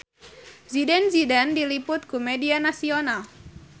Zidane Zidane diliput ku media nasional